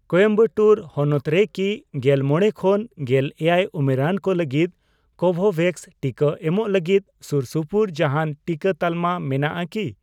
ᱠᱳᱭᱮᱢᱵᱟᱴᱩᱨ ᱦᱚᱱᱚᱛ ᱨᱮ ᱠᱤ ᱜᱮᱞ ᱢᱚᱬᱮ ᱠᱷᱚᱱ ᱜᱮᱞ ᱮᱭᱟᱭ ᱩᱢᱮᱨᱟᱱ ᱠᱚ ᱞᱟᱹᱜᱤᱫ ᱠᱳᱵᱷᱳᱵᱷᱮᱠᱥ ᱴᱤᱠᱟᱹ ᱮᱢᱚᱜ ᱞᱟᱹᱜᱤᱫ ᱥᱩᱨᱥᱩᱯᱩᱨ ᱡᱟᱦᱟᱱ ᱴᱤᱠᱟᱹ ᱛᱟᱞᱢᱟ ᱢᱮᱱᱟᱜᱼᱟ ᱠᱤ ?